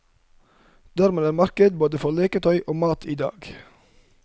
Dermed er det marked både for leketøy og mat i dag.